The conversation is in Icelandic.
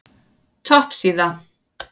Topp síða